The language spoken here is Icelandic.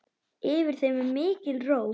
Yfir þeim er mikil ró.